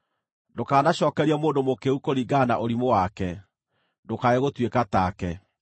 Ndũkanacookerie mũndũ mũkĩĩgu kũringana na ũrimũ wake, ndũkae gũtuĩka take.